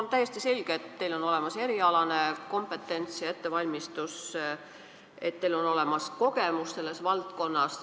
On täiesti selge, et teil on olemas erialane kompetents ja ettevalmistus, teil on olemas kogemus selles valdkonnas.